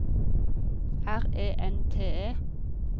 R E N T E